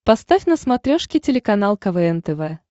поставь на смотрешке телеканал квн тв